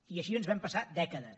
i així ens vam passar dècades